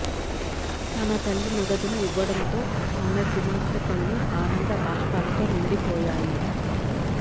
తన తల్లి నగదును ఇవ్వడంతో ఆమె కుమార్తె కళ్లు ఆనంద భాష్పాలతో నిండిపోయాయి